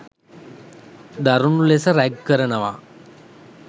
දරුනු ලෙස රැග් කරනවා.